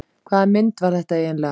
Hvaða mynd var þetta eiginlega?